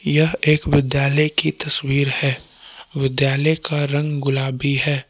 यह एक विद्यालय की तस्वीर है विद्यालय का रंग गुलाबी है।